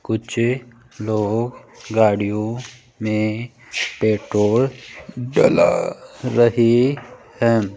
कुछ लोग गाड़ियों मे पेट्रोल डाला रहे है।